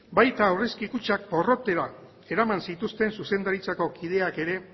baita aurrezki kutxak porrotera eraman zituzten zuzendaritzako kideak ere